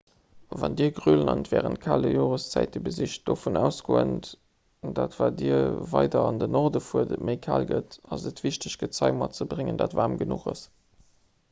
wann dir grönland wärend kale joreszäite besicht dovun ausgoend datt wat dir weider an den norden fuert et méi kal gëtt ass et wichteg gezei matzebréngen dat waarm genuch ass